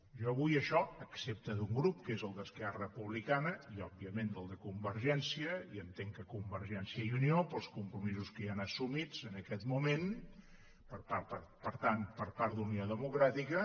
jo avui això excepte d’un grup que és el d’esquerra republicana i òbviament del de convergència i entenc que convergència i unió pels compromisos que hi han assumits en aquest moment per tant per part d’unió democràtica